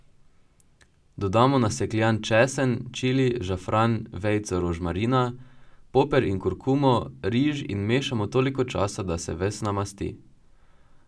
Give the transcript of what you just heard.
Dodamo nasekljan česen, čili, žafran, vejico rožmarina, poper in kurkumo, riž in mešamo toliko časa, da se ves namasti.